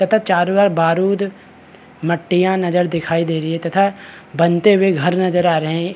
तथा चारो आ र बारूद मट्टिया नज़र दिखाई दे रही है तथा बनते हुए घर नज़र आ रहै है।